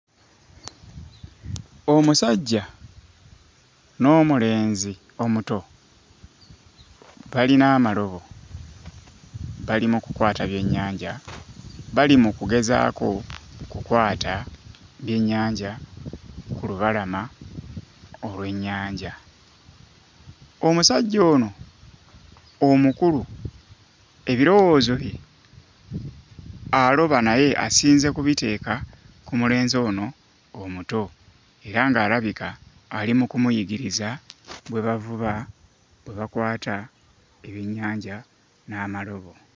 Omusajja n'omulenzi omuto balina amalobo bali mu kulwata byennyanja. Bali mu kugezaako okukwata byennyanja ku lubalama olw'ennyanja. Omusajja ono omukulu ebiriwoozo bye aloba naye asinze kubiteeka ku mulenzi ono omuto era ng'alabika ali mu kumuyigiriza bwe bavuba bwe bakwata ebyennyanja n'amalobo.